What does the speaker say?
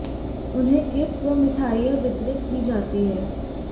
उन्हें गिफ्ट व मिठाइयां वितरित की जाती हैं